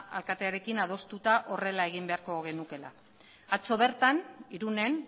alkatearekin adostuta horrela egin beharko genukeela atzo bertan irunen